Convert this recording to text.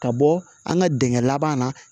Ka bɔ an ka dingɛ laban na